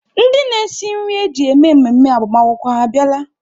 Ndị na-esi nri eji eme mmemme agbamakwụkwọ ha abịala?